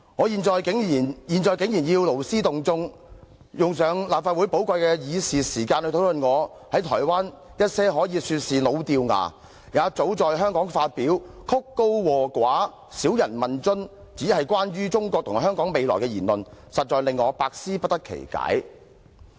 現在竟然要勞師動眾，用立法會寶貴的議事時間來討論我在台灣一些可以說是老掉牙，也早在香港發表、曲高和寡、少人問津，只是關乎中國和香港未來的言論，實在令我百思不得其解。